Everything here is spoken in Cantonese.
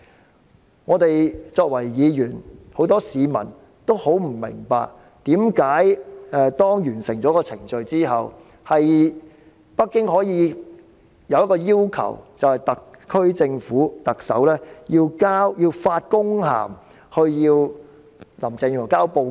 然而，我們議員及很多市民也很不明白，為甚麼在完成程序後，北京可以向特區政府的特首發公函，要求林鄭月娥交報告？